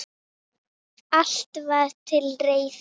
Allt var til reiðu.